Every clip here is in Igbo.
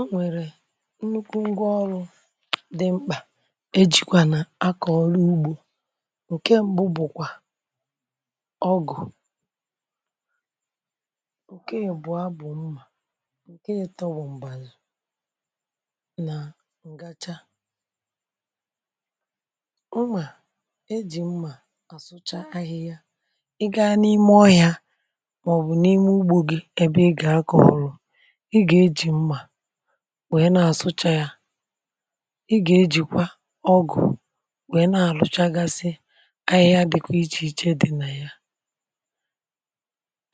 Ọ nwèrè nnukwu ngwaọrụ dị mkpà e jikwa nà akọ̀ ọrụ ugbȯ. ǹke mbu bụ̀kwà ọgụ̀, ǹke yì bụ̀ abụ̀ mmà, ǹke yì tọbụ̀ m̀gbèlù, nà ǹgacha. mmà, e jì mmà àsụcha ahịhịa, ị gȧ n’ime ọyȧ màọ̀bụ̀ n’ime ugbȯ gị ebe ị gà akọ̀ ọrụ̇, i ga ejị nwèe na-àsụcha ya, ị gà-ejìkwa ọgụ̀ nwèe na-àlụchagasi ahịhịa dịkwa ichèiche dị̇ na ya,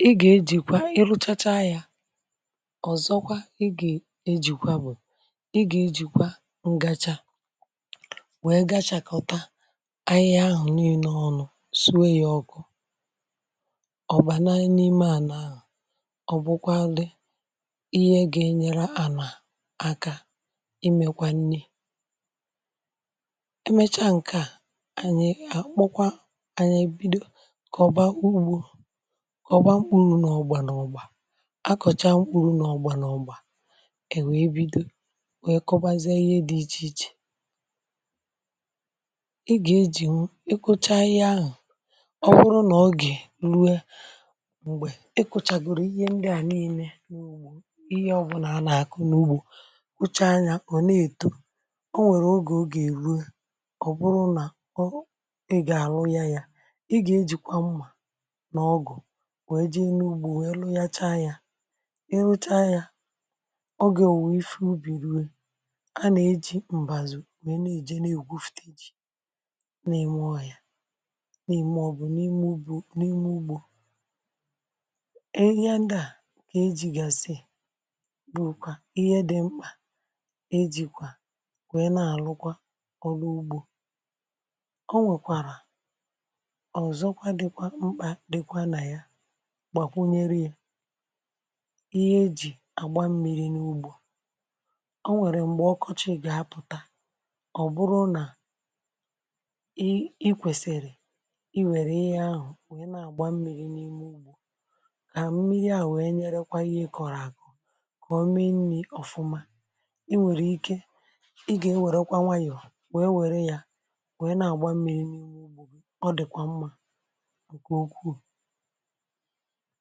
ị gà-ejìkwa ịrụchacha ya ọ̀zọkwa ị gà-ejìkwa bụ̀, ị gà-ejìkwa ǹgacha nwèe gachàkọta ahịhịa ahụ̀ nii̇nė ọnụ̇ suwe yȧ ọkụ ọ̀ bàna n’ime à nà, ọ̀bụkwalị ịhe ga enyere ana aka imėkwa nii̇. emechaa ǹke a kpokwa, ànyị ebido kà ọ̀ba ugbȯ kà ọ̀ba mkpuru n’ọgbà n’ọgbà àkọ̀cha mkpuru n’ọgbà n’ọgbà, è we ebido we kụbazi ihe dị̇ ichè ichè. i gà-ejì ikuchà ahịhịa ahụ̀, ọ̀ wuru nà ọ gị̀ rue m̀gbè i kụchagoro ihe ndị à niine kwụcha anyȧ ọ̀ na-èto, o nwèrè ogè o gà-èru ọ̀ bụrụ nà ọ ị gà-àrụ ya ya ị gà-ejìkwa mmȧ n’ọgụ̀ wee jee n’ugbȯ wee lu ya chaa ya, i ru chaa ya ọ gà o wùwa ife ubi̇ru̇, a nà-eji m̀bàzù wee na-èje na-ègwu fụ̀ta ejì na-ème ọ ya, na-ème ọ bụ̀ n’ime ugbȯ n’ime ugbȯ. ejìkwà wèe na-àlụkwa ọrụ ugbȯ. o nwekwàrà ọ̀zọkwa dịkwa mkpà dịkwa nà ya gbàkwunyere yȧ ihe ejì àgba mmi̇ri̇ n’ugbȯ. o nwèrè m̀gbè ọkọchị gà-apụ̀ta, ọ̀ bụrụ nà i i kwèsìrì i wère ihe ahụ̀ wèe na-àgba mmi̇ri̇ n’ime ugbȯ kà mmiri à wèe nyerekwa ihe ịkọ̀rọ̀ àgụ ka ọme nii ọfuma. i nwèrè ike ị gà-ewèrekwa nwayọ̀ wee wère yȧ wee na-àgba mmiri̇ n’ihu ọ dị̀kwà mmȧ ǹkè ukwuù.